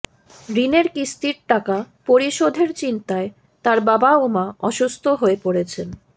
ঋণের কিস্তির টাকা পরিশোধের চিন্তায় তার বাবা ও মা অসুস্থ হয়ে পড়েছেন